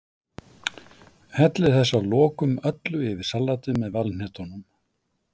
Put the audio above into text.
Hellið þessu að lokum öllu yfir salatið með valhnetunum.